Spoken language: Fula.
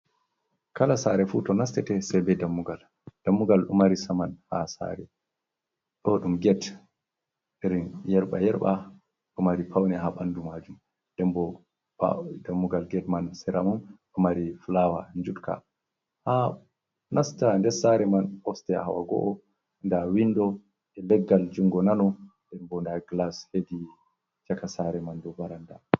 Kala sare fu to nastate sei be dammugal. Dammugal ɗo mari saman ha sare. Ɗo ɗum get irin yerɓa-yerɓa. Ɗo mari paune ha ɓandu maajum. Nden bo ɓaawo dammugal get man, sera mum ɗo mari flawa njutka. Ha nasta nder sare man osteya hawa go'o. Nda windo e leggal jungo nano, nden bo nda glas hedi caka saare man dou baranda.